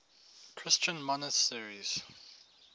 christian monasteries